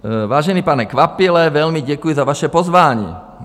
Vážený pane Kvapile, velmi děkuji za vaše pozvání.